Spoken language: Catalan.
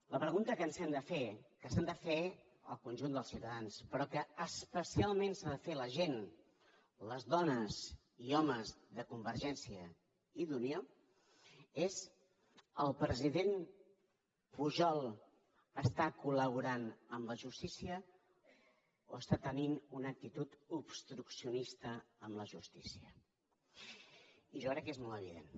la pregunta que ens hem de fer que s’han de fer el conjunt dels ciutadans però que especialment s’ha de fer la gent les dones i homes de convergència i d’unió és el president pujol està colobstruccionista amb la justícia i jo crec que és molt evident